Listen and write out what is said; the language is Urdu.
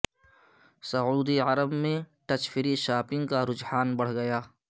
سعودی عرب میں ٹچ فری شاپنگ کا رحجان بڑھ گیا